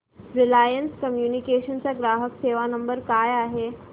Reliance Communications चा ग्राहक सेवा नंबर काय आहे